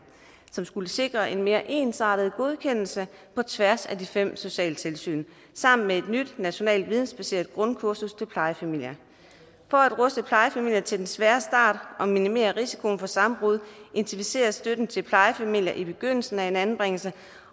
som skulle sikre en mere ensartet godkendelse på tværs af de fem socialtilsyn sammen med et nyt nationalt vidensbaseret grundkursus til plejefamilier for at ruste plejefamilier til den svære start og minimere risikoen for sammenbrud intensiveres støtten til plejefamilier i begyndelsen af en anbringelse